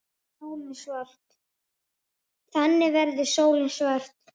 Þannig verður sólin svört.